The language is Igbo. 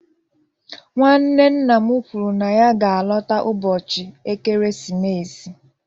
Nwanne nna m kwuru na ya ga-alọta ụbọchị ekeresimesi.